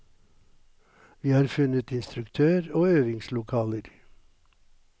Vi har funnet instruktør og øvingslokaler.